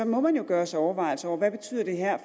må man jo gøre sig overvejelser om hvad det her